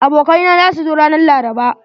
Abokai na za su zo ranan laraba.